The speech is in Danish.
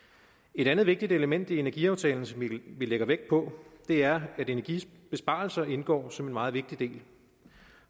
et andet vigtigt element i energiaftalen som vi lægger vægt på er at energibesparelser indgår som en meget vigtig del